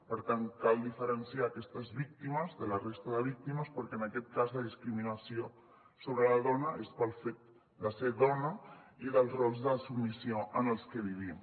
per tant cal diferenciar aquestes víctimes de la resta de víctimes perquè en aquest cas la discriminació sobre la dona és pel fet de ser dona i dels rols de submissió en els que vivim